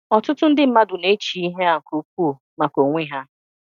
Ọtụtụ ndị mmadụ na-échi ịhe á nke ukwuu maka onwe há.